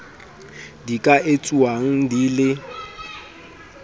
di ka etsuwang di le